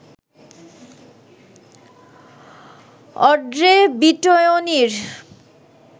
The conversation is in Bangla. অড্রে বিটয়নির